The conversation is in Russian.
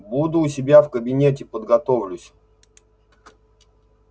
буду у себя в кабинете подготовлюсь